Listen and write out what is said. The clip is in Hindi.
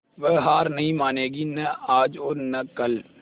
वह हार नहीं मानेगी न आज और न कल